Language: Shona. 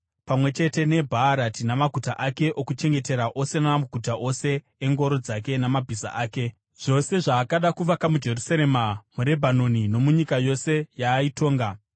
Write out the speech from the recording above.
pamwe chete neBhaarati namaguta ake okuchengetera ose namaguta ose engoro dzake namabhiza ake, zvose zvaakada kuvaka muJerusarema muRebhanoni nomunyika yose yaaitonga.